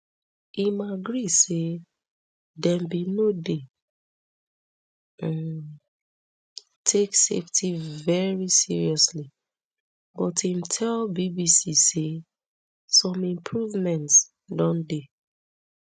im agree say dem bin no dey um take safety veri seriously but im tell bbc say some improvements don dey